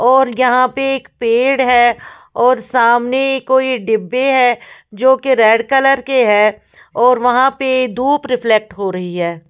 और यहाँ पे एक पेड़ है और सामने कोई डिब्बें हैं जो की रेड कलर के है और वहाँ पे धूप रिफ्लेक्ट हो रही हैं।